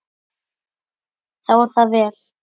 Þá er það vel.